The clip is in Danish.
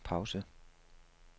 pause